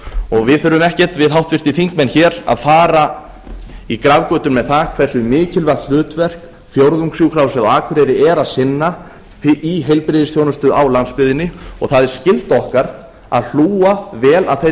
þjónustu við þurfum ekkert við háttvirtir þingmenn hér að fara í grafgötur með það hversu mikilvægu hlutverki fjórðungssjúkrahúsið á akureyri er að sinna í heilbrigðisþjónustu á landsbyggðinni það er skylda okkar að hlúa vel að þeirri